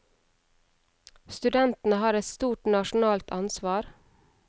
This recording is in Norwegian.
Studentene har et stort nasjonalt ansvar.